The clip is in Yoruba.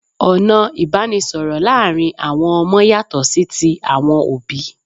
Ọ̀nà ìbánisọ̀rọ̀ láàrin àwon ọmọ yàtọ̀ sí ti àwọn òbí